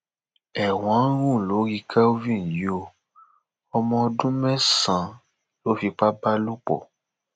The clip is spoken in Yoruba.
ẹwọn ń rùn lórí kelvin yìí o ọmọ ọdún mẹsànán ló fipá bá lò pọ